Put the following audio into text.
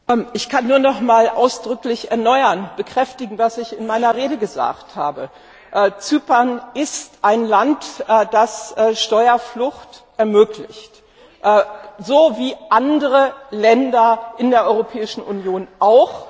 Ich kann nur noch einmal ausdrücklich bekräftigen, was ich in meiner Rede gesagt habe Zypern ist ein Land, das Steuerflucht ermöglicht, so wie andere Länder in der Europäischen Union auch.